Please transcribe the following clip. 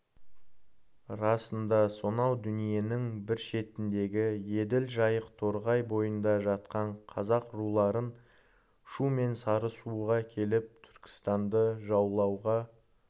расында сонау дүниенің бір шетіндегі еділ жайық торғай бойында жатқан қазақ руларын шу мен сарысуға келіп түркістанды жаулауға